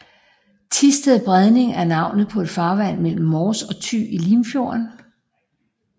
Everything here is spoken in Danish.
Thisted Bredning er navnet på et farvand mellem Mors og Thy i Limfjorden